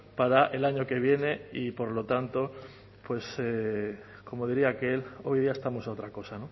para el año que viene y por lo tanto como diría aquel hoy día estamos a otra cosa